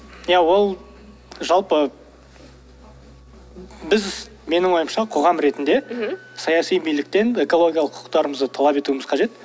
ия ол жалпы біз менің ойымша қоғам ретінде мхм саяси биліктен экологиялық құқықтарымызды талап етуіміз қажет